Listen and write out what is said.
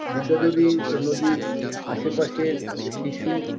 বিদ্যাধরী নদীর আশেপাশের শিশু